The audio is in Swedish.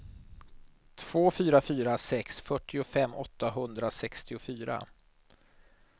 två fyra fyra sex fyrtiofem åttahundrasextiofyra